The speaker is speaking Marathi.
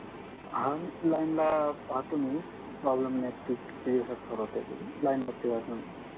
हा लाईनला पाहतो मी प्रॉब्लेम नेट फिक्स किती दिवसात होते ते लाईनवरती राहा तुम्ही